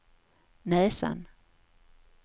näsan